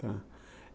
Tá.